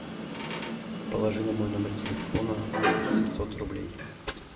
положи на мой номер телефона семьсот рублей